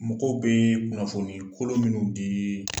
Mɔgɔw bee kunnafoni kolo minnu dii